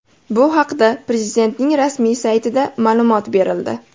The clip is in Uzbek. Bu haqda Prezidentning rasmiy saytida ma’lumot berildi .